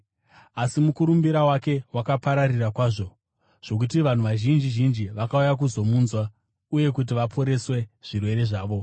Asi mukurumbira wake wakapararira kwazvo, zvokuti vanhu vazhinji zhinji vakauya kuzomunzwa uye kuti vaporeswe zvirwere zvavo.